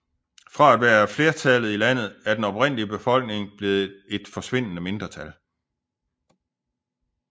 Fra at være flertallet i landet er den oprindelige befolkning blevet et forsvindende mindretal